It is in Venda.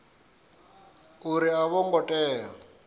uri a vho ngo tea